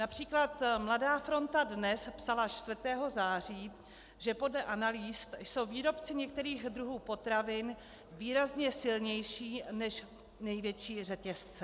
Například Mladá fronta DNES psala 4. září, že podle analýz jsou výrobci některých druhů potravin výrazně silnější než největší řetězce.